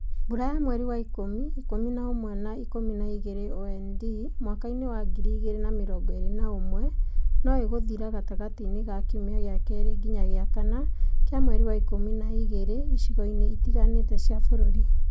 Mbura ya mweri wa ikumi, ikumi na ũmwe na Ikumi na igĩrĩ (OND) mwaka-inĩ wa ngiri igĩrĩ na mĩrongo ĩrĩ na ũmwe no ĩgũthira gatagatĩ ka kiumia gĩa kerĩ nginya gĩa kana kĩa mweri wa Ikumi na igĩrĩ icigo-inĩ itiganĩte cia bũrũri.